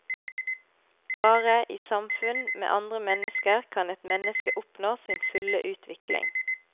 Bare i samfunn med andre mennesker kan et menneske oppnå sin fulle utvikling.